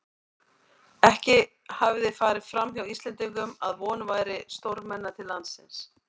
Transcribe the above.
Ekki hafði farið framhjá Íslendingum, að von væri stórmenna til landsins.